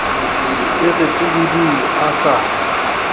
e re pududu a sa